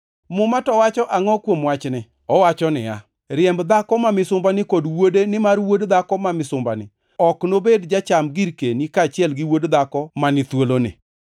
Muma to wacho angʼo kuom wachni? Owacho niya, “Riemb dhako ma misumbani kod wuode nimar wuod dhako ma misumbani ok nobed jacham girkeni kaachiel gi wuod dhako ma ni thuoloni.” + 4:30 \+xt Chak 21:10\+xt*